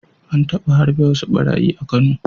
An taba harbe wasu ɓarayi a Kano.